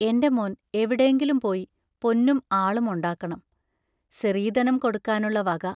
എന്റെ മോൻ എവിടേങ്കിലും പോയി പൊന്നും ആളും ഒണ്ടാക്കണം, സിറീതനം കൊടുക്കാനുള്ള വക...